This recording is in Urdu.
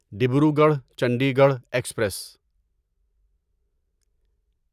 ڈبروگڑھ چنڈیگڑھ ایکسپریس